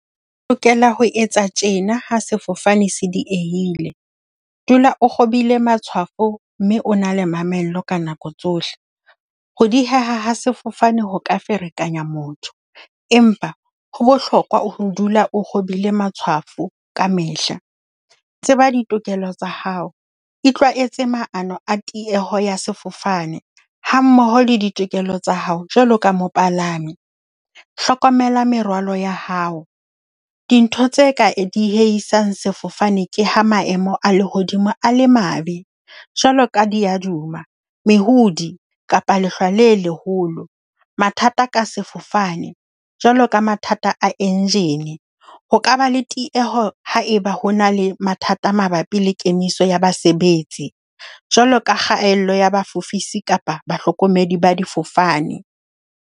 O lokela ho etsa tjena ha sefofane se diehile. Dula o kgobile matshwafo mme o na le mamello ka nako tsohle. Ho dieha ha sefofane ho ka ferekanya motho, empa ho bohlokwa ho dula o kgobile matshwafo kamehla. Tseba ditokelo tsa hao, itlwaetse maano a tieho ya sefofane hammoho le ditokelo tsa hao, jwalo ka mopalami. Hlokomela merwalo ya hao. Dintho tse ka diehisang sefofane ke ha maemo a lehodimo a le mabe, jwaloka diaduma, mehodi kapa lehlwa le leholo. Mathata ka sefofane, jwalo ka mathata a engine. Ho ka ba le tieho haeba ho na le mathata mabapi le kemiso ya basebetsi, jwalo ka kgaello ya bafofise kapa bahlokomedi ba difofane.